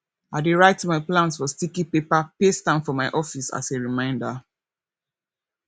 i dey write my plans for sticky paper paste am for my office as a reminder